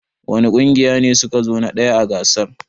Wani ƙungiya ne su ka zo na ɗaya a gasar?